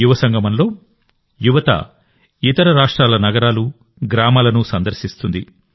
యువసంగమంలో యువత ఇతర రాష్ట్రాల నగరాలు గ్రామాలను సందర్శిస్తుంది